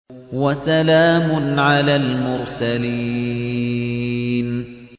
وَسَلَامٌ عَلَى الْمُرْسَلِينَ